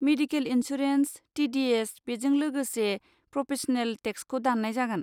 Medical insurance, TDS. बेजों लोगोसे professional टेक्सखौ दान्नाय जागोन।